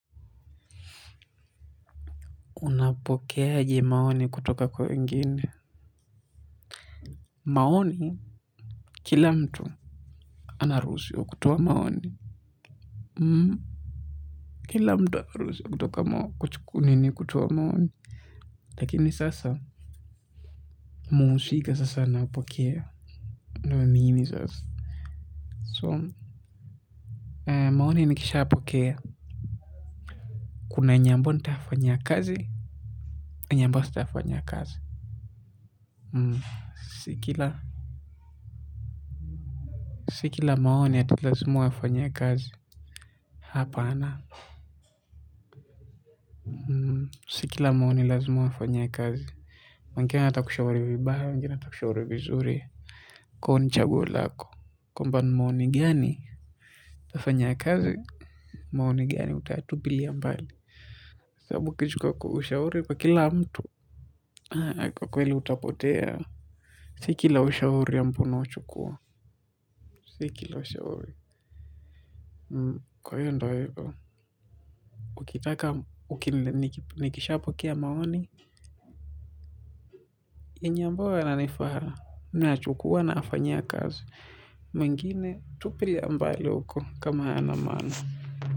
Unapokea aje maoni kutoka kwa wengine. Maoni, kila mtu anarusiwa kutowa maoni. Kila mtu anarusi wa kutoka maoni kutowa maoni. Lakini sasa, muhusiga sasa anapokea. Ndo mimi sasa. So, maoni nikisha apokea. Kuna yenye ambayo nitafanyia kazi, yenye ambayo sitafanyia kazi. Si kila maoni ati lazima uyafanyie kazi. Hapana si kila maoni lazima ufanyie kazi wengine watakushauri vibaya wengine watakushauri vizuri kwa hio ni chaguo lako kwamba ni maoni gani utafanyia kazi, maoni gani utayatupilia mbali. Sababu ukichukua ushauri kwa kila mtu kwa kweli utapotea. Si kila ushauri ambao unauchukua. Si kila ushaure. Kwa hio ndio hivo. Ukitaka, nikishapokea maoni. Yenye ambayo yananifaa nayachukua nafanyia kazi. Mengine tupilia mbali huko kama hayana maana.